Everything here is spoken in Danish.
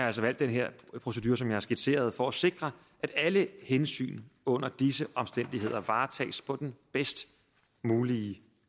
altså valgt den her procedure som jeg har skitseret for at sikre at alle hensyn under disse omstændigheder varetages på den bedst mulige